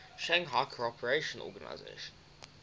shanghai cooperation organization